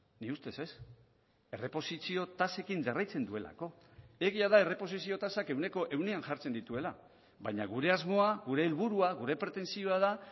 nire ustez ez erreposizio tasekin jarraitzen duelako egia da erreposizio tasak ehuneko ehunean jartzen dituela baina gure asmoa gure helburua gure pretentsioa da